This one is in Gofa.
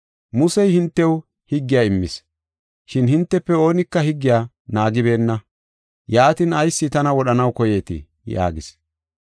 Musey hintew higgiya immis, shin hintefe oonika higgiya naagibeenna. Yaatin ayis tana wodhanaw koyeetii?” yaagis.